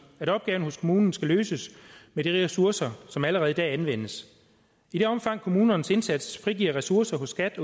at opgaven hos kommunen skal løses med de ressourcer som allerede i dag anvendes i det omfang kommunernes indsats frigiver ressourcer hos skat